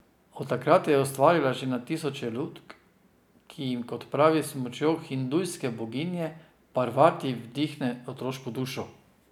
Od takrat je ustvarila že na tisoče lutk, ki jim, kot pravi, s pomočjo hindujske boginje Parvati vdihne otroško dušo.